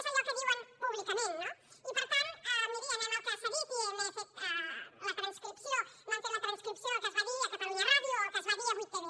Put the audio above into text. és allò que diuen públicament no i per tant miri anem al que s’ha dit i m’han fet la transcripció del que es va dir a catalunya ràdio o del que es va dir a 8tv